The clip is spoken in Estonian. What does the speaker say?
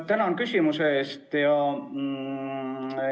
Tänan küsimuse eest!